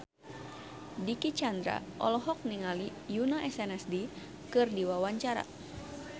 Dicky Chandra olohok ningali Yoona SNSD keur diwawancara